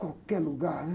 Qualquer lugar, né?